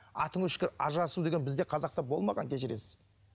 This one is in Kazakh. атың өшкір ажырасу деген бізде қазақта болмаған кешіресіз